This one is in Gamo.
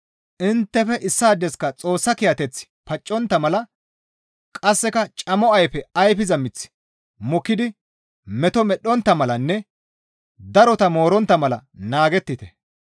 Inttefe issaadeska Xoossa kiyateththi paccontta mala qasseka camo ayfe ayfiza miththi mokkidi meto medhdhontta malanne darota moorontta mala naagettite.